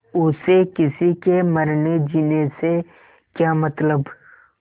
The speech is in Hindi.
उसे किसी के मरनेजीने से क्या मतलब